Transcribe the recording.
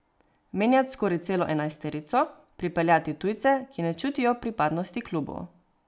Menjat skoraj celo enajsterico, pripeljati tujce, ki ne čutijo pripadnosti klubu.